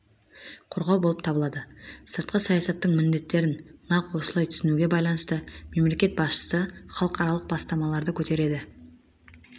қорғау болып табылады сыртқы саясаттың міндеттерін нақ осылай түсінуге байланысты мемлекет басшысы халықаралық бастамаларды көтереді